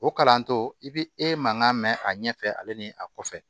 O kalantɔ i bi e mankan mɛ a ɲɛfɛ ale ni a kɔfɛ